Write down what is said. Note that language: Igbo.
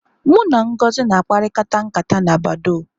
Mụ na Ngozi na akparịkata nkata na badọọ́.